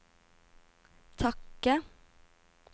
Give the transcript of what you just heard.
takke